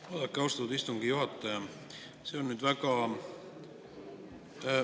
Vaadake, austatud istungi juhataja!